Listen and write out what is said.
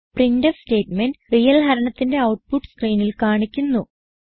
printf statement real ഹരണത്തിന്റെ output സ്ക്രീനിൽ കാണിക്കുന്നു